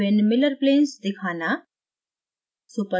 विभिन्न miller planes दिखाना